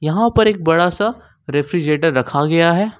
वहां पर एक बड़ा सा रेफ्रिजरेटर रखा गया है।